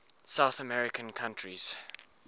south american countries